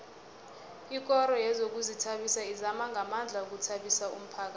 ikoro yezokuzithabisa izama ngamandla ukuthabisa umphakhathi